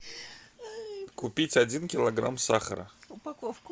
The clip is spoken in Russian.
купить один килограмм сахара